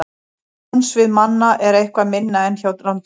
Sjónsvið manna er eitthvað minna en hjá rándýrum.